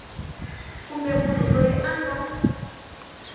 kumbe munhu loyi a nga